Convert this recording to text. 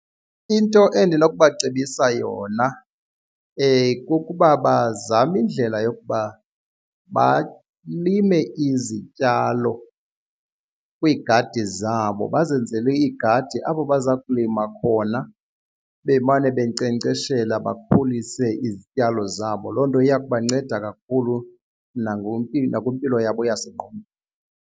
Into endinokubacebisa yona kukuba bazame indlela yokuba balime izityalo kwiigadi zabo. Bazenzele iigadi apho baza kulima khona bemane benkcenkceshele bakhulise izityalo zabo. Loo nto iya kubanceda kakhulu nakwimpilo yabo yasengqondweni.